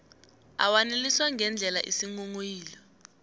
awaneliswa ngendlela isinghonghoyilo